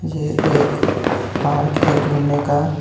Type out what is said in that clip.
येह एक पार्क है घूमने का.